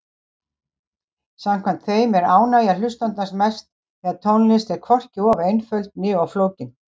Samkvæmt þeim er ánægja hlustandans mest þegar tónlist er hvorki of einföld né of flókin.